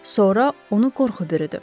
Sonra onu qorxu bürüdü.